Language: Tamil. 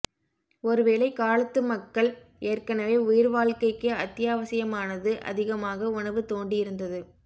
ஒருவேளை காலத்து மக்கள் ஏற்கனவே உயிர்வாழ்க்கைக்கு அத்தியாவசியமானது அதிகமாக உணவு தோண்டி இருந்தது